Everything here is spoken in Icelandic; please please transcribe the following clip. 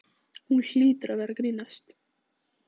Hún hlýtur að vera að grínast.